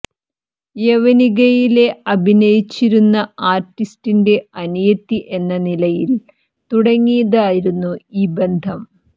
യവനികയിലെ അഭിനയിച്ചരുന്ന ആർട്ടിസ്റ്റിന്റെ അനിയത്തി എന്ന നിലയിൽ തുടങ്ങിയതായിരുന്നു ഈ ബന്ധം